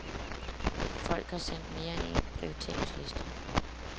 Folk har sendt mere end en prioriteringsliste.